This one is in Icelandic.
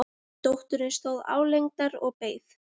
Dóttirin stóð álengdar og beið.